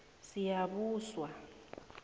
siyabuswa